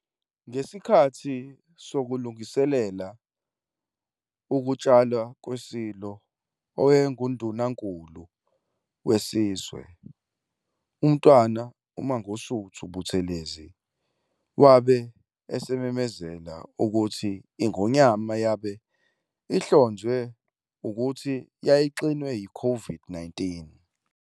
Ngesikhathi sokulungiselela ukutshalwa kweSilo, owayenguNdunankulu wesizwe, uMntwana uMangosuthu Buthelezi, wabe esememezela ukuthi iNgonyama yabe ihlonzwe ukuthi yayixinwe -COVID-19.